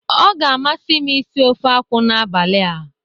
Ọ ga-amasị m isi ofe akwụ n'abalị a.